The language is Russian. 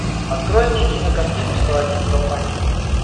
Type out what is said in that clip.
открой мне кинокартину сто один долматинец